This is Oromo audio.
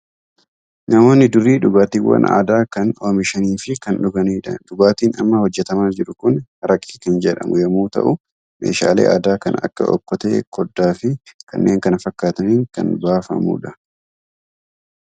Namoonni durii dhugaatiiwwan aadaa kan oomishanii fi kan dhuganidha. Dhugaatiin amma hojjetamaa jiru kun haraqee kan jedhamu yommuu ta'u, meeshaalee aadaa kan akka okkotee, koddaa fi kanneen kana fakkaataniin kan baafamudha.